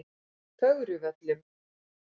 Fögruvöllum